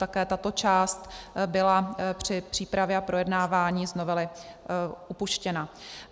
Také tato část byla při přípravě a projednávání z novely vypuštěna.